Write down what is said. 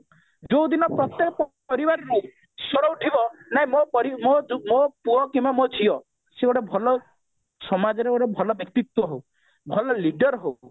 ଯୋଉ ଦିନ ପ୍ରତ୍ଯେକ ପରିବାରରେ ସ୍ଵର ଉଠିବ ନାଇଁ ମୋ ପରିବାର ମୋ ପୁଅ କିମ୍ବା ମୋ ଝିଅ ସେ ଗୋଟେ ଭଲ ସମାଜରେ ଗୋଟେ ଭଲ ବ୍ୟକ୍ତିତ୍ବ ହଉ ଭଲ leader ହଉ